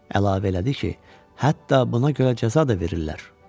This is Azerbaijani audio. Əlavə elədi ki, hətta buna görə cəza da verirlər.